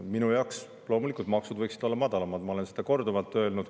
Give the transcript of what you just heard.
Minu poolest võiksid loomulikult maksud olla madalamad, ma olen seda korduvalt öelnud.